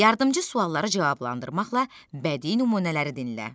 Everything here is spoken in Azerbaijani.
Yardımçı sualları cavablandırmaqla bədii nümunələri dinlə.